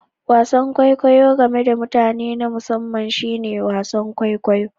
Wasan kwaikwayo game da mutane na musamman shine wasan kwaikwayo